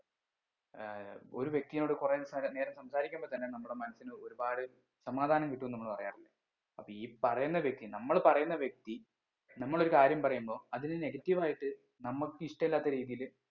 ഏർ ഒര് വ്യക്തിനോട് കുറേ നേരം സംസാരിക്കുമ്പൊ തന്നെ നമ്മുടെ മനസ്സിന് ഒരുപാട് സമാധാനം കിട്ടുംന്ന് നമ്മൾ പറയാറില്ലേ അപ്പൊ ഈ പറയുന്ന വ്യക്തി നമ്മൾ പറയുന്ന വ്യക്തി നമ്മൾ ഒരു കാര്യം പറയുമ്പോ അതിന് negative ആയിട്ട് നമ്മക്ക് ഇഷ്ടല്ല്യാത്ത രീതീല്